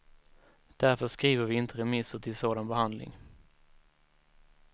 Därför skriver vi inte remisser till sådan behandling.